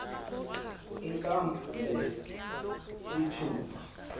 inkampu le lithuba